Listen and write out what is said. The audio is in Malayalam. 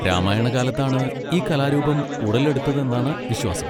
രാമായണകാലത്താണ് ഈ കലാരൂപം ഉടലെടുത്തതെന്നാണ് വിശ്വാസം.